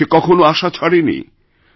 সে কখনও আশা ছাড়ে নি